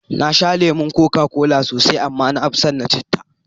Na sha lemon koka kola sosai, amma na fi son na citta.